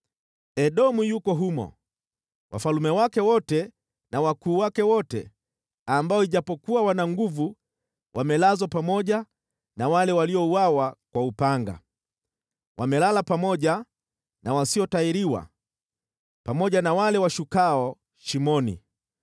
“Edomu yuko humo, wafalme wake wote na wakuu wake wote, ambao ijapokuwa wana nguvu, wamelazwa pamoja na wale waliouawa kwa upanga. Wamelala pamoja na wasiotahiriwa, pamoja na wale washukao shimoni.